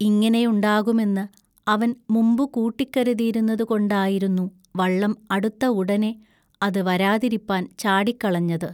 ഇങ്ങിനെയുണ്ടാകുമെന്നു അവൻ മുമ്പുകൂട്ടിക്കരുതിയിരുന്നതുകൊണ്ടായിരുന്നു വള്ളം അടുത്ത ഉടനെ അതുവരാതിരിപ്പാൻ ചാടിക്കളഞ്ഞത്.